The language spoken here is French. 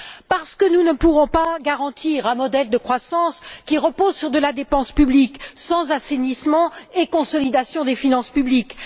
Parce que nous ne pourrons pas garantir un modèle de croissance qui repose sur la dépense publique sans assainissement et consolidation des finances publiques.